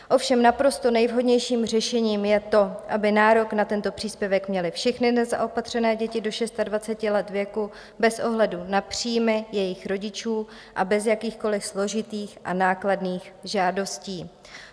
Ovšem naprosto nejvhodnějším řešením je to, aby nárok na tento příspěvek měly všechny nezaopatřené děti do 26 let věku bez ohledu na příjmy jejich rodičů a bez jakýchkoli složitých a nákladných žádostí.